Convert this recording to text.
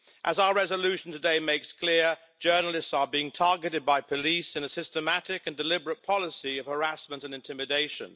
As our resolution today makes clear, journalists are being targeted by police in a systematic and deliberate policy of harassment and intimidation.